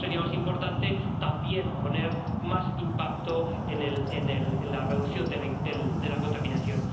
A lo mejor sería más importante también poner más impacto en la reducción de la contaminación.